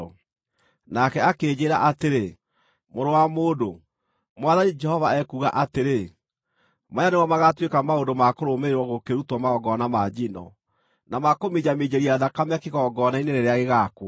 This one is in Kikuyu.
Nake akĩnjĩĩra atĩrĩ, “Mũrũ wa mũndũ, Mwathani Jehova ekuuga atĩrĩ: Maya nĩmo magaatuĩka maũndũ ma kũrũmĩrĩrwo gũkĩrutwo magongona ma njino, na ma kũminjaminjĩria thakame kĩgongona-inĩ rĩrĩa gĩgaakwo: